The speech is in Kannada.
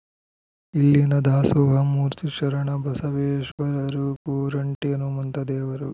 ಇಲ್ಲಿನ ದಾಸೋಹ ಮೂರ್ತಿ ಶರಣ ಬಸವೇಶ್ವರರು ಕೋರಂಟಿ ಹನುಮಂತ ದೇವರು